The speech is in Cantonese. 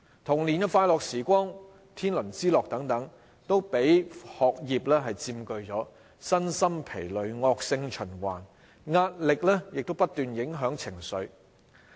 童年的快樂時光、天倫之樂等，都被學業佔據，身心疲累、惡性循環，壓力亦不斷影響情緒。